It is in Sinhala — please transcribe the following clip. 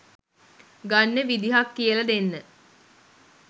ගන්න විදිහක් කියල දෙන්න